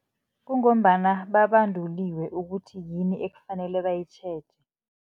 Kungombana babanduliwe ukuthi yini ekufanele bayitjheje.